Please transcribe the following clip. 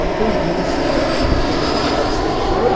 Onde tem vícios e não tem aquela estrutura.